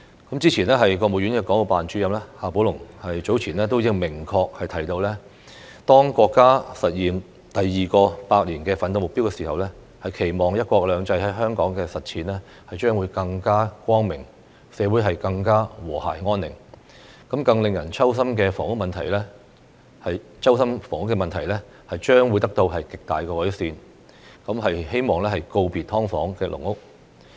國務院港澳事務辦公室主任夏寶龍早前便明確提到，當國家實現第二個百年奮鬥目標的時候，期望"一國兩制"在香港的實踐將會更加光明，社會更和諧安寧，令人揪心的房屋問題將得到極大改善，希望可以告別"劏房"和"籠屋"。